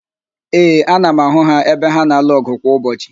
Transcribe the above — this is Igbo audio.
Ee, ana m ahụ ha ebe ha na-alụ ọgụ kwa ụbọchị